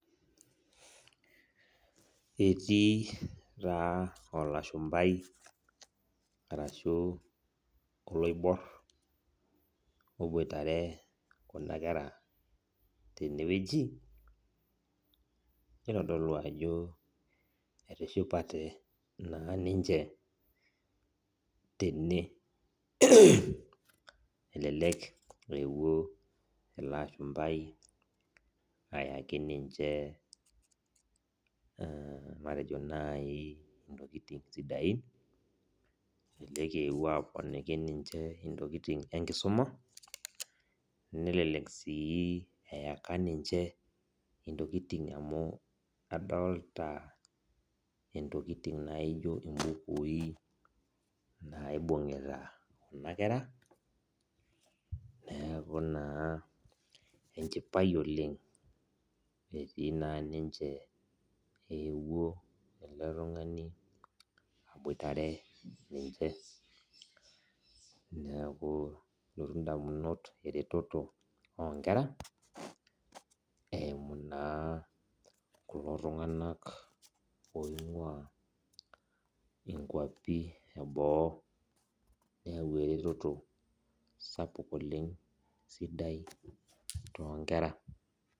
Etii ta olashumbai arashu oloibor oboitare kuna kera tenewueji nitodolu ajo etishipate na ninche tene, elelek ewuo ilo ashumbai ayaki ninche matejo nai ntokitin sidain matejo ewuo aponiki ninche ntokitin enkisuma nelek si eyaka ninche ntokitin amu aldolta ntokitin naijo mbukui naibungita kuna kera neaku na enchipae oleng etii na ninche uwuo ele tungani aboitare ninche eretoto onkera eimu na kulo tunganak oingua nkwapi eboo neyau eretoto sapuk oleng sidai tonkera.